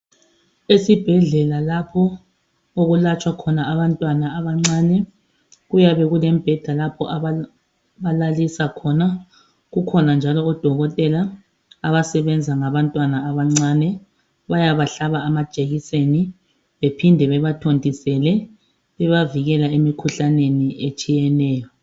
Esibhedlela lapho okulatshwa khona abantwana abancane kuyabe kulembheda lapho ababalalisa khona kukhona njalo odokotela abasebenza ngabantwana abancane. Bayabahlaba amajekiseni bephinde bebathontisele, bebavikela emikhuhlaneni etshiyeneyo.